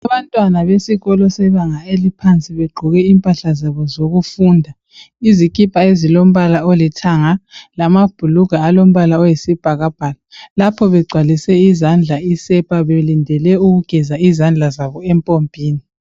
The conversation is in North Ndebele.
Abantwana besikolo sebanga eliphansi begqoke impahla zabo zokufunda izikipa ezilombala olithanga lamabhulungwe alombala oyisibhakabhaka lapho begcwalise izandla isepa belindele ukugeza izandla zabo empopini.